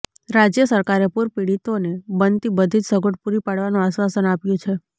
રાજ્ય સરકારે પૂરપીડિતોને બનતી બધીજ સગવડ પૂરી પાડવાનું આશ્વાસન આપ્યુ છે